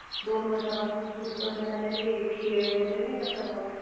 दोन वर्षांपासून सुरु करण्यात आलयं, ते खेळ वगैरे नाही का सर्व.